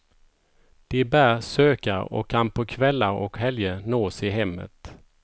De bär sökare och kan på kvällar och helger nås i hemmet.